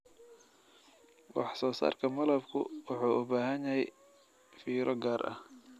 Wax soo saarka malabku wuxuu u baahan yahay fiiro gaar ah.